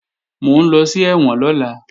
Mò ń lọ sí ẹ̀wọ̀n lọ́la